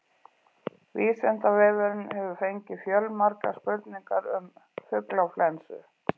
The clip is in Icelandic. Vísindavefurinn hefur fengið fjölmargar spurningar um fuglaflensu.